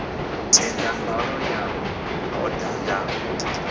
tenda mbalo ya oda ya